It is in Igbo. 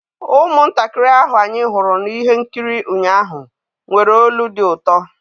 Ụmụntakịrị ahụ anyị hụrụ na ihe nkiri ụnyaahụ nwere olu dị ụtọ.